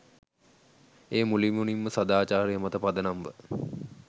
එය මුළුමනින්ම සදාචාරය මත පදනම්ව